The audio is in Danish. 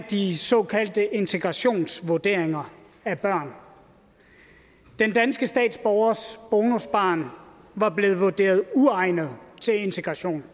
de såkaldte integrationsvurderinger af børn den danske statsborgers bonusbarn var blevet vurderet uegnet til integration